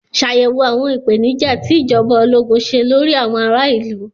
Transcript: Ṣàyẹ̀wò àwọn ìpèníjà tí ìjọba ológun ṣe lórí àwọn ará ìlú.